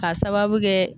K'a sababu kɛ